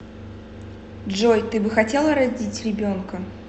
джой ты бы хотела родить ребенка